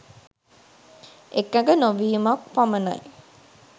එකඟ නොවීමක් පමණයි.